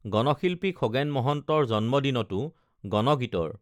গণশিল্পী খগেন মহন্তৰ জন্মদিনতো গণগীতৰ